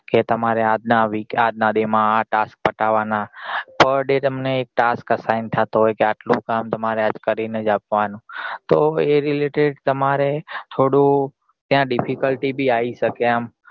કે તમારે આજ નાં આજ નાં day માં આ task પતાવવા નના per day તમને એક task sign થતો હોય કે આટલું કામ તમારે આજ કરી ને જ આવા નું તો એ related થોડું ત્યાં difficulty બી આઈ સકે આમ